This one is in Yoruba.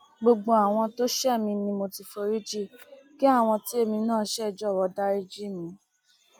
gbogbo àwọn tó ṣẹ mí ni mo ti foríjì kí àwọn tí èmi náà ṣe jọwọ dariji mi